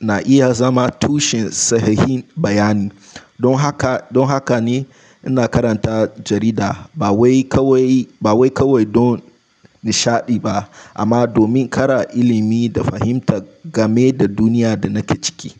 na iya zama tushen sahihin bayani. Don haka, don haka ne ina karanta jarida. Ba wai kawai, ba wai kawai don nishaɗi ba amma domin ƙara ilimi da fahimta game da duniya da nake ciki.